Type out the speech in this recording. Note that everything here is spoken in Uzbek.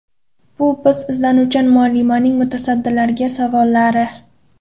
Bu bir izlanuvchan muallimaning mutasaddilarga savollari.